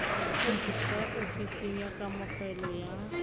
ka ofising ya kamogelo ya